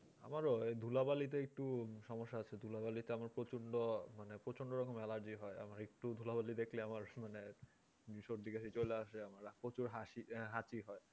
আমারও ধুলাবালি তে একটু সমস্যা আছে ধুলাবালি তে আমার প্রচন্ড মানে প্রচন্ডরকম allergy হয় মানে একটু ধুলাবালি দেখলেই আমার মানে সর্দি-কাশি চলে আসে আমার প্রচুর হাচি হয়